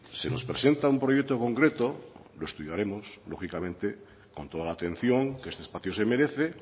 se nos presenta un proyecto concreto lo estudiaremos lógicamente con toda la atención que este espacio se merece